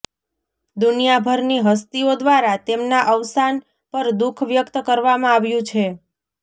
દુનિયાભરની હસ્તીઓ દ્વારા તેમના અવસાન પર દુખ વ્યક્ત કરવામાં આવ્યુ છે